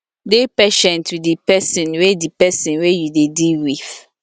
dey patient with di person wey di person wey you dey deal with